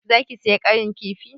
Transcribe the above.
Za ki saya ƙarin kifi?